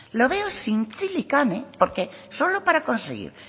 lo veo sin zintzilikan porque solo para conseguir